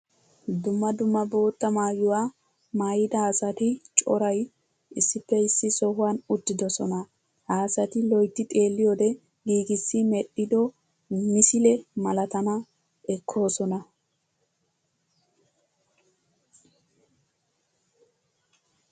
Dumma dumma bootta maayuwa maayidda asatti coray issippe issi sohuwan uttidsonna. Ha asatti loytti xeelliyodde giigissi medhiddo misile malatanna ekkosonna.